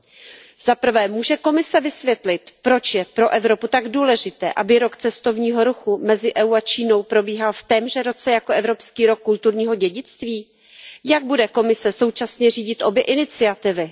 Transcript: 1. Může Komise vysvětlit, proč je pro Evropu tak důležité, aby rok cestovního ruchu mezi EU a Čínou probíhal v témže roce jako Evropský rok kulturního dědictví? 2. Jak bude Komise současně řídit obě iniciativy?